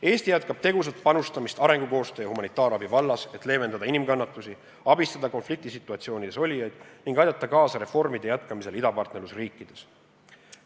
Eesti jätkab tegusat panustamist arengukoostöö ja humanitaarabi vallas, et leevendada inimeste kannatusi, abistada konfliktisituatsioonides olijaid ning aidata kaasa reformide jätkamisele idapartnerlusriikides.